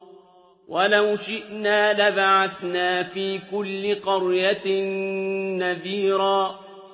وَلَوْ شِئْنَا لَبَعَثْنَا فِي كُلِّ قَرْيَةٍ نَّذِيرًا